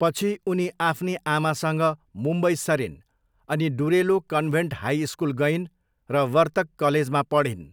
पछि उनी आफ्नी आमासँग मुम्बई सरिन् अनि डुरेलो कन्भेन्ट हाई स्कुल गइन् र वर्तक कलेजमा पढिन्।